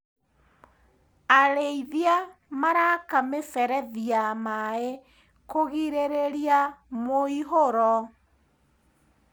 Arĩithia maraka mĩberethi ya maĩ kũgirĩrĩria mũihũro.